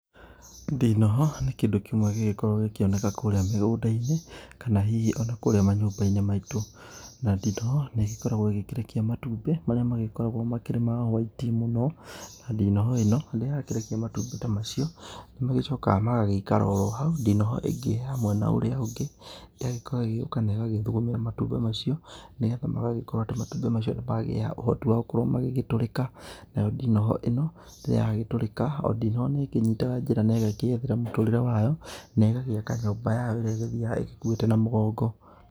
Ndinoho nĩ kĩndũ kĩmwe gĩgĩkoragwo gĩkĩoneka kũrĩa mũgũnda-inĩ kana hihi o na kũrĩa manyũmba-inĩ maitũ. Na ndinoho nĩ ĩgĩkoragwo ĩgĩkĩrekia matumbĩ marĩa magĩkoragwo makĩrĩ ma hwaiti mũno. Na ndinoho ĩno rĩrĩa ya kĩrekia matumbĩ ta macio, nĩ magĩcokaga magagĩikara oro hau. Ndinoho ĩngĩ ya mwena ũria ũngĩ yagĩkorwo ĩgĩuka na ĩgagĩthugumĩra matumbĩ macio, nĩgetha magagĩkorwo atĩ matumbĩ macio nĩ magĩa ũhoti wa gũkorwo magĩgĩtũrĩka. Nayo ndinoho ĩno, rĩrĩa yagĩtũrĩka, o ndinoho nĩ ĩkĩnyitaga njĩra na ĩgakĩĩethera mũtũrĩre wayo, na ĩgagĩaka nyũmba yayo ĩrĩa ĩgĩthiaga ĩkuĩte na mũgongo.